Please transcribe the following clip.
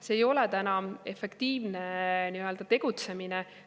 See ei ole efektiivne tegutsemine.